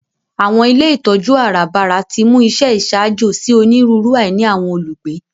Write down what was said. Àwọn ilé ìtójú àràbarà timú àwọn iṣẹ iṣaajo si oniruuru àìní àwọn olugbe.